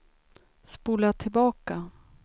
spola tillbaka